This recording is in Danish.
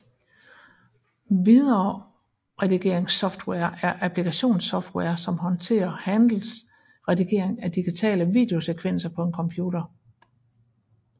Videoredigeringssoftware er applikationssoftware som håndterer handles redigering af digitale videosekvenser på en computer